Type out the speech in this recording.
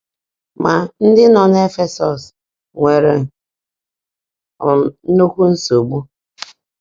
Ma, ndị nọ n'Efesọs nwere um nnukwu nsogbu.